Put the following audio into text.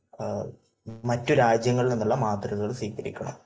മറ്റ് രാജ്യങ്ങളിൽ നിന്നുള്ള മാതൃകകൾ സ്വീകരിക്കണം.